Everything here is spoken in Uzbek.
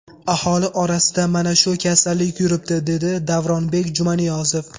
Aholi orasida mana shu kasallik yuribdi”, dedi Davronbek Jumaniyozov.